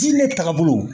Diinɛ tagabolo